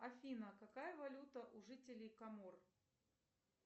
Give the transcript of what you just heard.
афина какая валюта у жителей комор